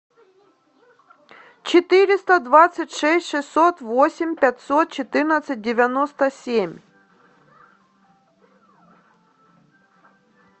четыреста двадцать шесть шестьсот восемь пятьсот четырнадцать девяносто семь